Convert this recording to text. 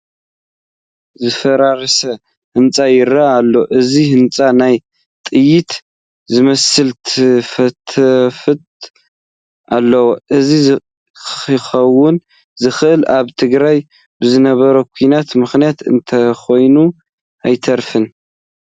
ዝፈራረሰ ህንፃ ይርአ ኣሎ፡፡ እዚ ህንፃ ናይ ጥይት ዝመስል ትፍታፋት ኣለዉዎ፡፡ እዚ ክኾን ዝኸኣለ ኣብ ትግራይ ብዝነበረ ኲናት ምኽንያት እንተይኮነ ኣይተርፍን፡፡